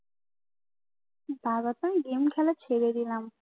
তারপর তো গেম খেলা ছেড়ে দিলাম